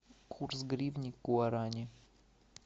курс гривны к гуарани